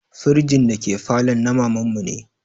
Firjin da ke falon na maman mu ne